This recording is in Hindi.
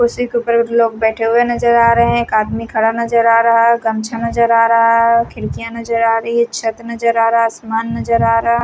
कुर्सी के ऊपर लोग बैठे हुए नजर आ रहे हैं एक आदमी खड़ा नजर आ रहा है गमछा नजर आ रहा है खिड़कियां नजर आ रही है छत नजर आ रहा है आसमान नजर आ रहा।